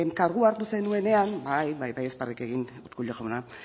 kargu hartu zenuenean bai bai ez barrerrik egin urkullu jauna